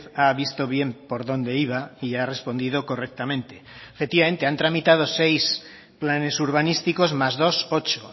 ha visto bien por dónde iba y ha respondido correctamente efectivamente han tramitado seis planes urbanísticos más dos ocho